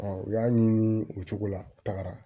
u y'a ɲimi o cogo la u tagara